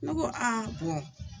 Ne ko